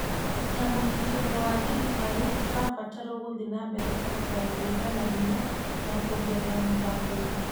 Na mũnyiterero wa thirikari tũrabatarwo gũthie na mbere kũruta wĩra na hinya na kuongerera mũthako witũ.